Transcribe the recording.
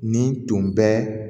Nin tun bɛ